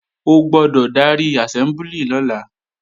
O gbọ́dọ̀ darí àsẹ́mbúlì lọ́la!